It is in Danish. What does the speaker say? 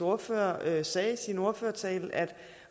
ordfører sagde i sin ordførertale at